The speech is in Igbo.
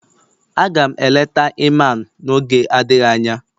Aga m eleta Iman n'oge adịghị anya